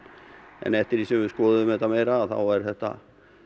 en eftir því sem við skoðuðum þetta meira er þetta